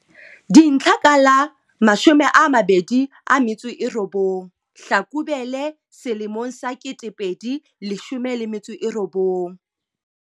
Dintlha ka la 29 Hlakubele 2019.